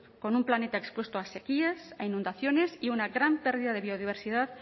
con un planeta expuesto a sequías a inundaciones y una gran pérdida de biodiversidad